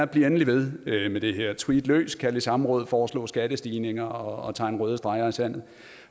bliv endelig ved med det her tweet løs kald i samråd foreslå skattestigninger og tegn røde streger i sandet